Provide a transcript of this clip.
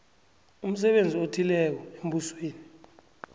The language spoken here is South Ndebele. umsebenzi othileko embusweni